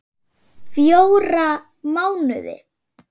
Fjóra mánuði.